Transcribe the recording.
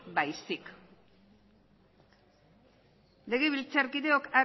baizik legebiltzarkideok